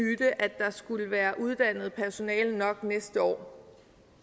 myte at der skulle være uddannet personale nok næste år